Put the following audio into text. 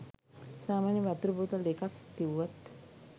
සාමාන්‍යයෙන් වතුර බෝතල් දෙකක් තිවුවත්